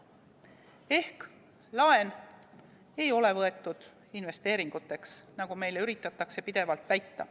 Ehk laen ei ole võetud investeeringuteks, nagu meile pidevalt üritatakse väita.